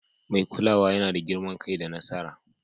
Mai kulawa yana da girman kai da nasara.